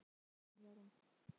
Gangi þér allt í haginn, Jarún.